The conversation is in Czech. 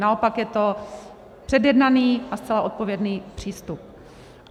Naopak je to předjednaný a zcela odpovědný přístup.